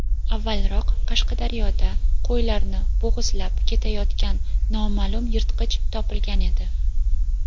avvalroq Qashqadaryoda qo‘ylarni bo‘g‘izlab ketayotgan noma’lum yirtqich topilgan edi.